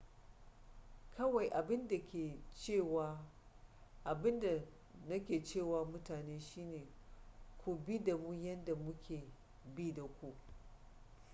kawai abin da na ke ce wa mutane shine ku bi da mu yadda muke bi da ku